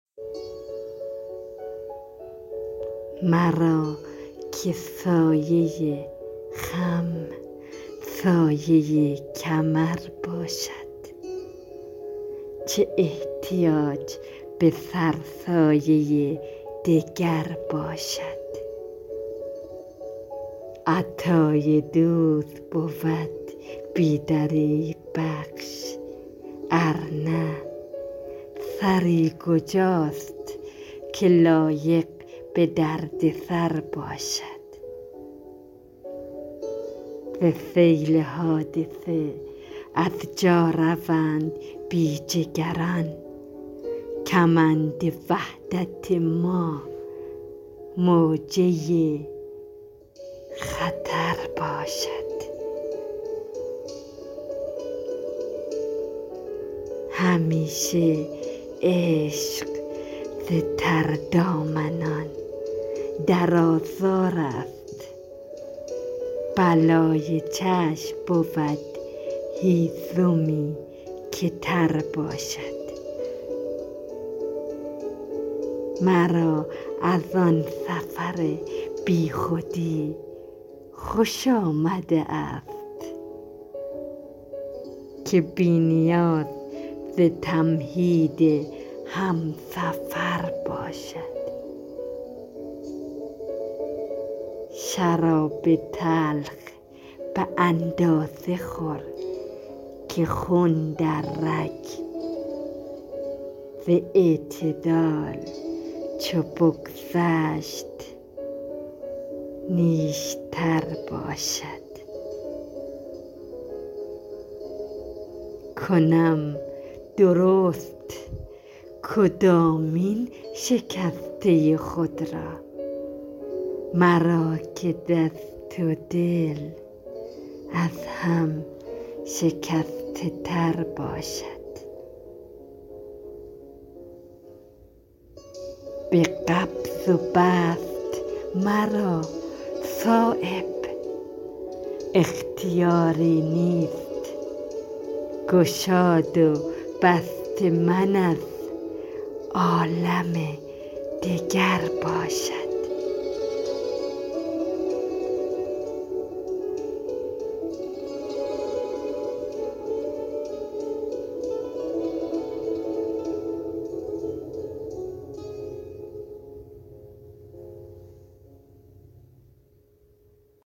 مرا که سایه خم سایه کمر باشد چه احتیاج به سرسایه دگر باشد عطای دوست بود بی دریغ بخش ارنه سری کجاست که لایق به دردسرباشد زسیل حادثه از جا روند بیجگران کمند وحدت ما موجه خطر باشد همیشه عشق زتردامنان در آزارست بلای چشم بود هیزمی که تر باشد مرا از آن سفر بیخودی خوش آمده است که بی نیاز ز تمهید همسفر باشد شراب تلخ به اندازه خورکه خون در رگ زاعتدال چو بگذشت نیشتر باشد کنم درست کدامین شکسته خود را مرا که دست ودل از هم شکسته تر باشد به قبض وبسط مرا صایب اختیاری نیست گشاد و بست من از عالم دگر باشد